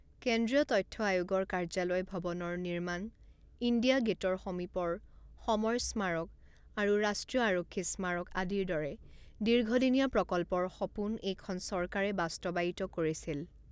কেন্দ্ৰীয় তথ্য আয়োগৰ কাৰ্যালয় ভৱনৰ নিৰ্মাণ, ইণ্ডিয়া গে'টৰ সমীপৰ সমৰ স্মাৰক আৰু ৰাষ্ট্ৰীয় আৰক্ষী স্মাৰক আদিৰ দৰে দীৰ্ঘ দিনীয়া প্ৰকল্পৰ সপোন এইখন চৰকাৰে বাস্তৱায়িত কৰিছিল।